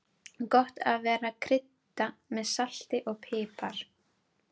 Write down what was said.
Gott er að krydda með salti, pipar og